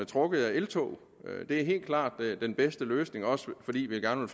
trukket af eltog det er helt klart den bedste løsning også fordi vi gerne